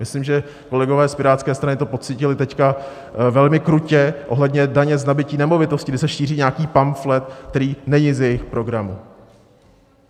Myslím, že kolegové z Pirátské strany to pocítili teď velmi krutě ohledně daně z nabytí nemovitosti, kdy se šíří nějaký pamflet, který není z jejich programu.